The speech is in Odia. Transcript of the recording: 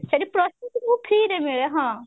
ସେଠି ସବୁ free ରେ ମିଳେ ହଁ